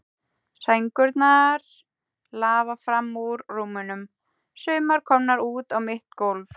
Sængurnar lafa fram úr rúmunum, sumar komnar út á mitt gólf.